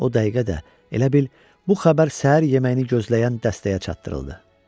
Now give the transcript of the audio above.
O dəqiqə də elə bil bu xəbər səhər yeməyini gözləyən dəstəyə çatdırıldı.